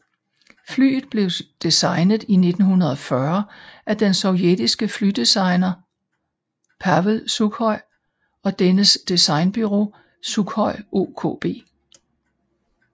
Flyet blev designet i 1940 af den sovjetiske flydesigner Pavel Sukhoj og dennes designbureau Sukhoj OKB